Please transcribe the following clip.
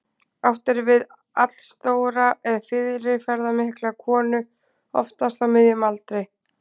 Átt er við allstóra eða fyrirferðarmikla konu, oftast á miðjum aldri.